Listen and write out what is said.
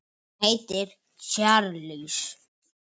Hann heitir Charles